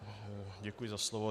Děkuji za slovo.